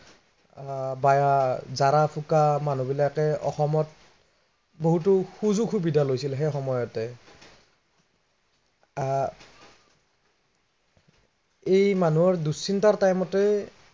আহ বা জাঁৰা ফুকা মানুহবিলাকে অসমত, বহুতো সুযোগ সুবিধা লৈছিল সেই সময়তে আহ এই মানুহৰ দুঃচিন্তাৰ time তে